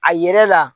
A yɛrɛ la